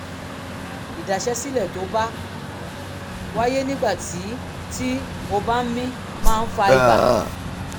ìdaṣẹ́sílẹ̀ tó bá wáyé nígbà tí tí o bá ń mí máa ń fa ibà